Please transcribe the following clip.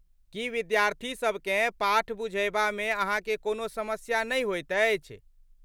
की विद्यार्थीसबकेँ पाठ बुझयबामे अहाँकेँ कोनो समस्या नहि होइत अछि?